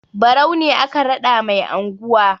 Barau ne aka raɗa mai anguwa.